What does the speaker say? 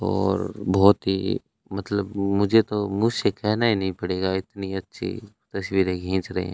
और बहुत ही मतलब मुझे तो मुंह से कहना ही नहीं पड़ेगा इतनी अच्छी तस्वीरे खींच रहे हैं।